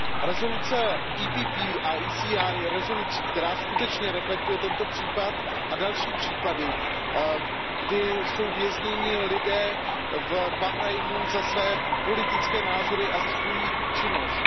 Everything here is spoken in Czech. Rezoluce PPE a ECR je rezolucí, která skutečně reflektuje tento případ a další případy, kdy jsou vězněni lidé v Bahrajnu za své politické názory a za svoji činnost.